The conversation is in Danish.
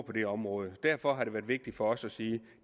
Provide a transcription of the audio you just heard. på det område derfor har det været vigtigt for os at sige